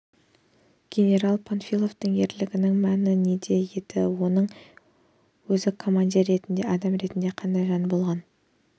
генерал панфиловтың ерлігінің мәні неде еді және оның өзі командир ретінде адам ретінде қандай жан болған